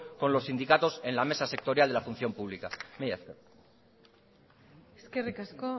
con los sindicatos en la mesa sectorial de la función pública mila esker eskerrik asko